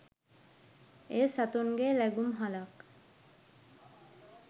එය සතුන්ගේ ලැගුම්හලක්